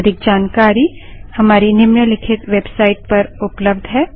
अधिक जानकारी हमारी निम्नलिखित वेबसाइट httpspoken tutorialorgNMEICT Intro पर उपलब्ध है